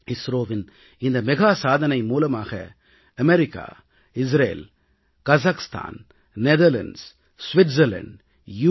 இஸ்ரோவின் இந்த மெகா சாதனை மூலமாக America Israel Kazakhstan Netherlands Switzerland you